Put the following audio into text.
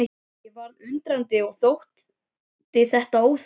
Ég varð undrandi og þótti þetta óþægilegt.